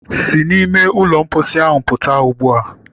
Si n'ime ụlọ mposi ahụ pụta ugbu a!